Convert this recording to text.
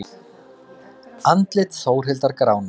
Andlit Þórhildar gránar.